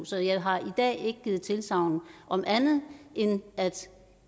så jeg har i dag ikke givet tilsagn om andet end at